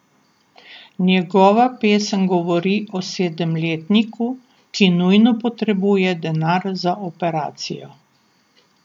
Njegova pesem govori o sedemletniku, ki nujno potrebuje denar za operacijo.